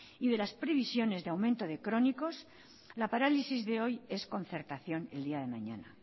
y de las previsiones de aumento de crónicos la parálisis de hoy es concertación el día de mañana